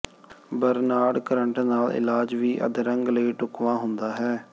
Bernard current ਨਾਲ ਇਲਾਜ ਵੀ ਅਧਰੰਗ ਲਈ ਢੁਕਵਾਂ ਹੁੰਦਾ ਹੈ